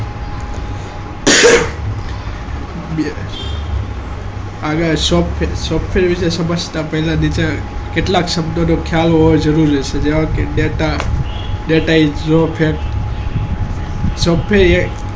પેહલા software આ કેટલા data હોય છે એ જરૂરી છે software એ